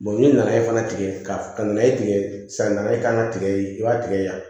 n'i nana i fana tigɛ ka na i tigɛ san na i kan ka tigɛ i b'a tigɛ yan